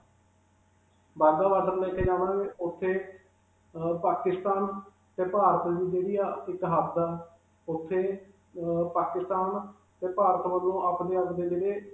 Wagah border ਲੈ ਕੇ ਜਾਵਾਂਗੇ, ਉਥੇ ਅਅ ਪਾਕਿਸਤਾਨ 'ਤੇ ਭਾਰਤ ਦੀ ਜਿਹੜੀ ਹੈ ਇਕ ਹੱਦ ਹੈ. ਉਥੇ ਅਅ ਪਾਕਿਸਤਾਨ ਤੇ ਭਾਰਤ ਵੱਲੋਂ ਆਪਣੇ-ਆਪਣੇ ਜਿਹੜੇ.